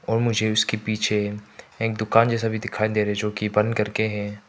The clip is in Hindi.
और मुझे उसके पीछे एक दुकान जैसा भी दिखाई दे रहे है जो की बंद करके है।